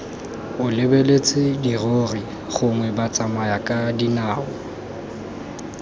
o lebeletse dirori gongwe batsamayakadinao